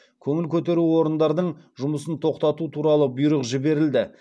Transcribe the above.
көңіл көтеру орындардың жұмысын тоқтату туралы бұйрық жіберілді